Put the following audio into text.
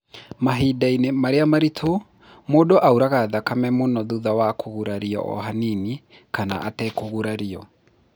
Mahinda-inĩ marĩa maritũ, mũndũ auraga thakame mũno thutha wa kũgũrario o hanini kana atekũgũrario.